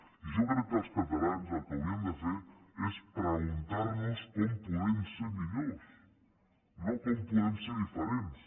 i jo crec que els catalans el que hauríem de fer és preguntar nos com podem ser millors no com podem ser diferents